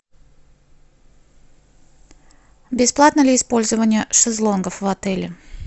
бесплатно ли использование шезлонгов в отеле